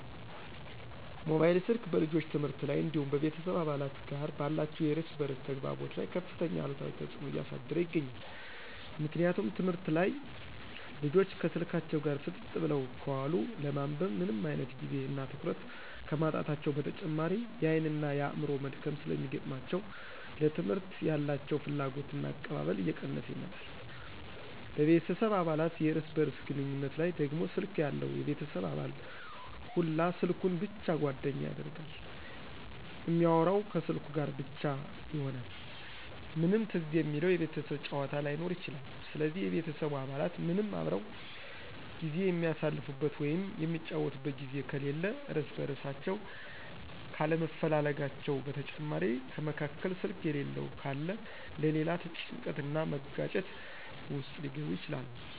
ሞባይል ስልክ በልጆች ትምህርት ላይ እንዲሁም በቤተሰብ አባላት ጋር ባላቸው የእርስ በእርስ ተግባቦት ላይ ከፍተኛ አሉታዊ ተጽዕኖ እያሳደረ ይገኛል። ምክንያቱም ትምህርት ላይ ልጆች ከስልካቸው ጋር ፍጥጥ ብለው ከዋሉ ለማንበብ ምንም አይነት ጊዜ እና ትኩረት ከማጣታቸው በተጨማሪ የአይን እና የአዕምሮ መድከም ስለሚገጥማቸው ለትምህርት ያላቸው ፍላጎትና አቀባበል እየቀነሰ ይመጣል፤ በቤተሰብ አባላት የእርስ በእርስ ግንኙነት ላይ ደግሞ ስልክ ያለው የቤተሰብ አባል ሁላ ስልኩን ብቻ ጓደኛ ያደርጋል እሚአወራው ከስልኩ ጋር ብቻ ይሆናል ምንም ትዝ የሚለው የቤተሰብ ጫዎታ ላይኖር ይችላል ስለዚህ የቤተሰቡ አባላት ምንም አብረው ጊዜ የሚአሳልፉበት ወይም የሚጫወቱበት ጊዜ ከሌለ እርስ በእርሳቸው ካለመፈላለጋቸው በተጨማሪ ከመካከል ስልክ የሌለው ካለ ለሌላ ጭንቀት እና መጋጨት ውስጥ ሊገቡ ይችላሉ።